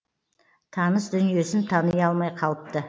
таныс дүниесін тани алмай қалыпты